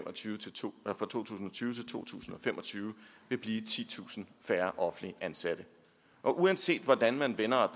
og tyve til to tusind to tusind og fem og tyve vil blive titusind færre offentligt ansatte uanset hvordan man vender og